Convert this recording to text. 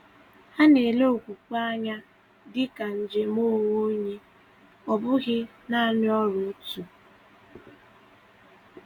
Hà na-ele okwukwe anya dị ka njem onwe onye, ọ bụghị naanị ọrụ òtù.